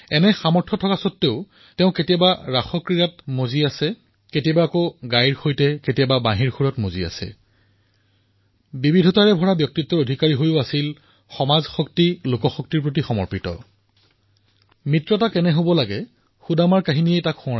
এনে সামৰ্থ উপলব্ধ হোৱাৰ পিছতো কেতিয়াবা তেওঁ ৰাসলৈ যায় কেতিয়াবা গাইবোৰৰ মাজত কেতিয়াবা গোৱালৰ মাজত কেতিয়াবা খেলে কেতিয়াবা বাঁহী বজায় বিবিধতাৰে ভৰা এই ব্যক্তিত্ব অপ্ৰতীম সামৰ্থৰে ধনী কিন্তু সমাজশক্তিৰ প্ৰতি সমৰ্পিত লোকসংগ্ৰাহকৰ ৰূপত নতুন কীৰ্তিমান স্থাপিত কৰিব পৰা ব্যক্তিত্ব